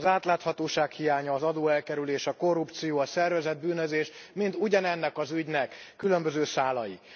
Az átláthatóság hiánya, az adóelkerülés, a korrupció, a szervezett bűnözés mind ugyanennek az ügynek különböző szálai.